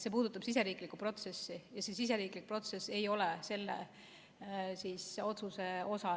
See puudutab siseriiklikku protsessi ja siseriiklik protsess ei ole selle otsuse osa.